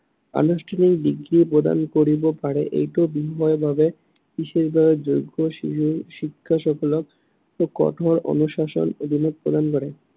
আনুষ্ঠানিক ডিগ্ৰী প্ৰদান কৰিব পাৰে। এইটো বিনিময়ৰ বাবে বিশেষভাৱে যোগ্য় শিক্ষকসকলক, কঠোৰ অনুশাসনৰ অধীনত প্ৰদান কৰে।